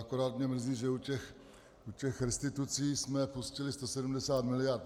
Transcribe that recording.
Akorát mě mrzí, že u těch restitucí jsme pustili 170 mld.